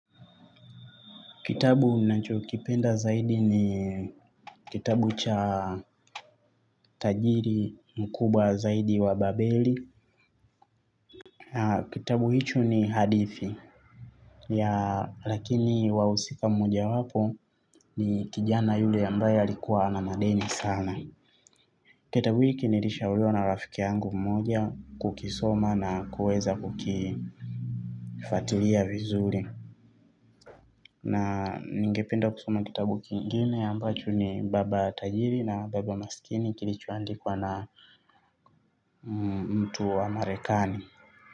Kitabu nacho kipenda zaidi ni kitabu cha tajiri mkubwa zaidi wa babeli. Kitabu hicho ni hadithi ya lakini wahusika mmoja wapo ni kijana yule ambaye alikuwa na madeni sana. Kitabu hiki nirishauriwa na rafiki yangu mmoja kukisoma na kueza kukifuatilia vizuri. Na ningependa kusoma kitabu kingine ambacho ni baba tajiri na baba masikini kilichoandikwa na mtu wa marekani.